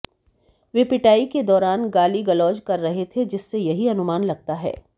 वे पिटाई के दौरान गली गलौज कर रहे थे जिससे यही अनुमान लगता है